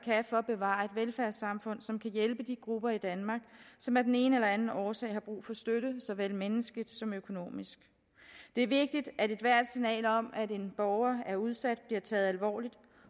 for at bevare et velfærdssamfund som kan hjælpe de grupper i danmark som af den ene eller anden årsag har brug for støtte såvel menneskeligt som økonomisk det er vigtigt at ethvert signal om at en borger er udsat bliver taget alvorligt